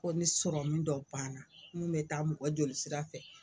Ko ni sɔrɔmun dɔ banna min bɛ taa mɔgɔ jolisira fɛ